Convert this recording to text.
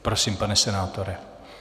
Prosím, pane senátore.